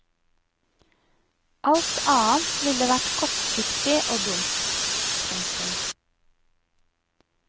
Alt annet ville vært kortsiktig og dumt. punktum